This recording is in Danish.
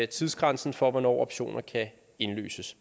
tidsgrænsen for hvornår optioner kan indløses